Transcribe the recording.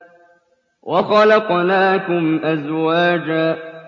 وَخَلَقْنَاكُمْ أَزْوَاجًا